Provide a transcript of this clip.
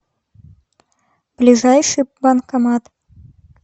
ближайший банкомат